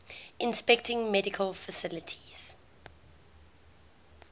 inspecting medical facilities